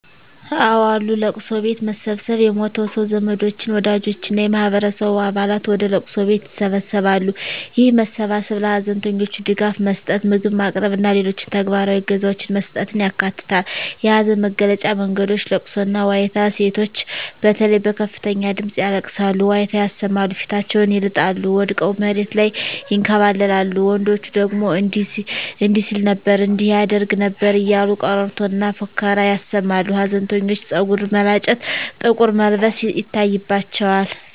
አወ አሉ፦ ለቅሶ ቤት መሰብሰብ የሞተው ሰው ዘመዶች፣ ወዳጆች እና የማህበረሰቡ አባላት ወደ ለቅሶ ቤት ይሰበሰባሉ። ይህ መሰባሰብ ለሀዘንተኞች ድጋፍ መስጠት፣ ምግብ ማቅረብ እና ሌሎች ተግባራዊ እገዛዎችን መስጠትን ያካትታል። የሀዘን መግለጫ መንገዶች * ለቅሶና ዋይታ: ሴቶች በተለይ በከፍተኛ ድምጽ ያለቅሳሉ፣ ዋይታ ያሰማሉ፣ ፊታቸውን ይልጣሉ፣ ወድቀው መሬት ላይ ይንከባለላሉ፤ ወንዶች ደግሞ እንዲህ ሲል ነበር እንዲህ ያደርግ ነበር እያሉ ቀረርቶና ፉከራ ያሰማሉ። ሀዘንተኞች ፀጉር መላጨት፣ ጥቁር መልበስ ይታይባቸዋል።